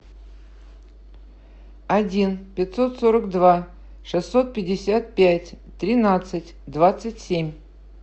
один пятьсот сорок два шестьсот пятьдесят пять тринадцать двадцать семь